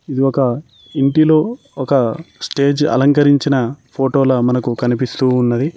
ఇది ఒక ఇంటిలో ఒక స్టేజ్ అలంకరించిన ఫోటోల మనకు కనిపిస్తూ ఉన్నది.